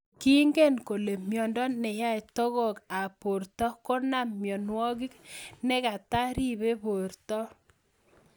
King'en kole miondo ne yae togok ab porto ko nam mionwogik ne kata ripei porto